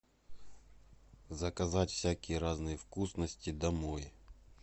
заказать всякие разные вкусности домой